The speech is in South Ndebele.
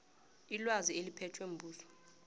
ilwazi eliphethwe mbuso